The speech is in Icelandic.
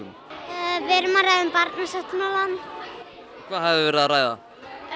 við erum að ræða um Barnasáttmálann hvað hafið þið verið að ræða